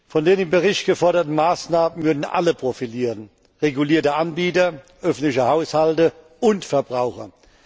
Von den im Bericht geforderten Maßnahmen würden alle profitieren regulierte Anbieter, öffentliche Haushalte und Verbraucher.